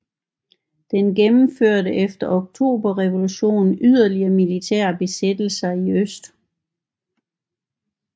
Den gennemførte efter oktoberrevolutionen yderligere militære besættelser i øst